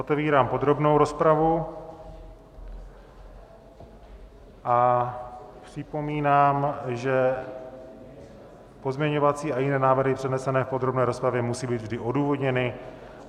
Otevírám podrobnou rozpravu a připomínám, že pozměňovací a jiné návrhy přednesené v podrobné rozpravě musí být vždy odůvodněny.